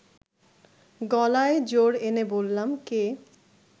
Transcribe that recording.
গলায় জোর এনে বললাম, কে